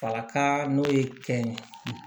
Falaka n'o ye kɛn ye